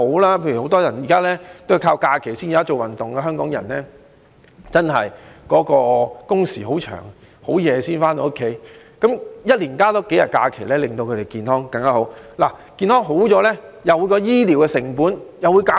例如現時很多人在假期才做運動，因為香港人的工時很長，很晚才回到家裏，一年增加數天假期，會令他們更健康。健康有所改善，醫療成本也會減少。